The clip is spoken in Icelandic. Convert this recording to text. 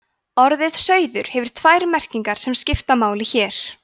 orðið sauður hefur tvær merkingar sem skipta máli hér